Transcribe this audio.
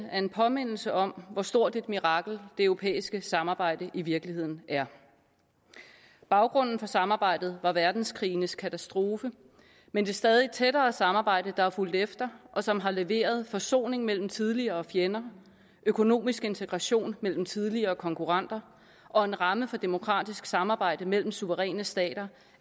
er en påmindelse om hvor stort et mirakel det europæiske samarbejde i virkeligheden er baggrunden for samarbejdet var verdenskrigenes katastrofe men det stadig tættere samarbejde der har fulgt efter og som har leveret forsoning mellem tidligere fjender økonomisk integration mellem tidligere konkurrenter og en ramme for demokratisk samarbejde mellem suveræne stater